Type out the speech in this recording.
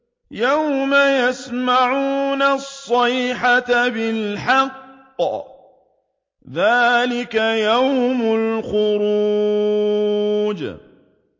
يَوْمَ يَسْمَعُونَ الصَّيْحَةَ بِالْحَقِّ ۚ ذَٰلِكَ يَوْمُ الْخُرُوجِ